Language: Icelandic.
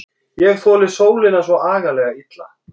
Ég þoli sólina svo agalega illa.